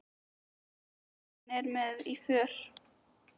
Og eiginkonan er með í för.